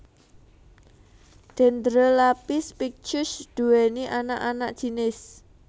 Dendrelaphis pictus nduwèni anak anak jinis